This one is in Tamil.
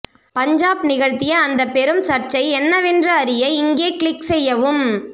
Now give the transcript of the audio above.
பஞ்சாப் நிகழ்த்திய அந்த பெரும் சர்ச்சை என்னவென்று அறிய இங்கே க்ளிக் செய்யவும்